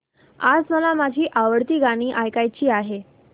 आज मला माझी आवडती गाणी ऐकायची आहेत